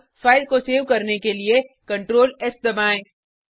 अब फाइल को सेव करने के लिए ctrls दबाएँ